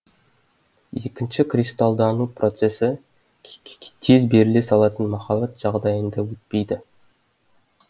екінші кристаллдану процесі тез беріле салатын махаббат жағдайында өтпейді